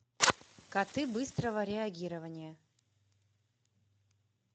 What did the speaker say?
коты быстрого реагирования